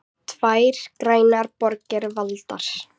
Tvær grænar borgir valdar